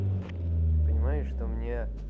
ты понимаешь что мне